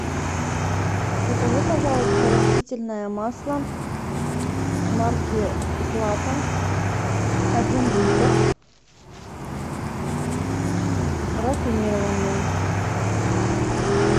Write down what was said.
закажи пожалуйста растительное масло марки злато один литр рафинированное